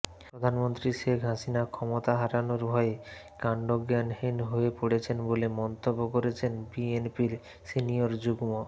প্রধানমন্ত্রী শেখ হাসিনা ক্ষমতা হারানোর ভয়ে কান্ডজ্ঞানশুন্য হয়ে পড়েছেন বলে মন্তব্য করেছেন বিএনপির সিনিয়র যুগ্ম